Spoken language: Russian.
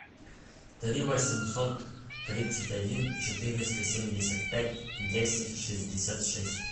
три восемьсот тридцать один четыреста семьдесят пять десять шестьдесят шесть